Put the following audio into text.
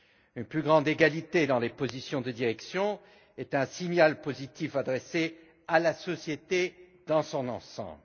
Une plus grande égalité dans les postes de direction est un signal positif adressé à la société dans son ensemble.